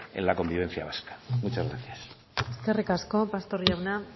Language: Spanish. en la convivencia vasca muchas gracias eskerrik asko pastor jauna